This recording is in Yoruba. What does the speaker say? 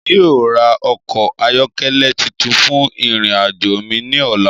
Emi yóò ra ọkọ ayọkẹlẹ titun fun irin ajo mi ni ọla.